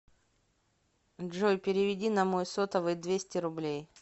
джой переведи на мой сотовый двести рублей